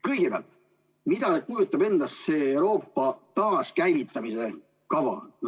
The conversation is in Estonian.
Kõigepealt, mida kujutab endast see Euroopa taaskäivitamise kava?